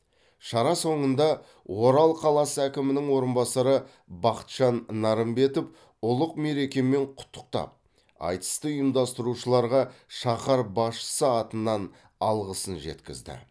шара соңында орал қаласы әкімінің орынбасары бақытжан нарымбетов ұлық мерекемен құттықтап айтысты ұйымдастырушыларға шаһар басшысы атынан алғысын жеткізді